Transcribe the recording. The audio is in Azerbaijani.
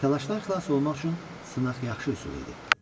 Təlaşdan xilas olmaq üçün sınaq yaxşı üsul idi.